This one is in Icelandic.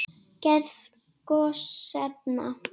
Gerð gosefna